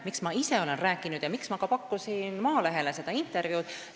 Miks ma ise olen rääkinud ja miks ma pakkusin ka Maalehele seda intervjuud?